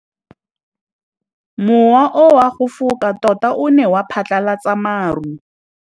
Mowa o wa go foka tota o ne wa phatlalatsa maru.